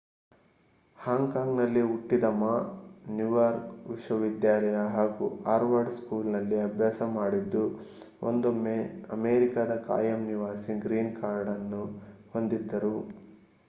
ಹಾಂಗ್ Kong ನಲ್ಲಿ ಹುಟ್ಟಿದ Ma New York ವಿಶ್ವ ವಿದ್ಯಾಲಯ ಹಾಗೂ ಹಾರ್ವರ್ಡ್ ಸ್ಕೂಲ್ ನಲ್ಲಿ ಅಭ್ಯಾಸ ಮಾಡಿದ್ದು ಒಂದೊಮ್ಮೆ ಅಮೇರಿಕಾದ ಖಾಯಂ ನಿವಾಸಿ ಗ್ರೀನ್ ಕಾರ್ಡ್ ಅನ್ನು ಹೊಂದಿದ್ದರು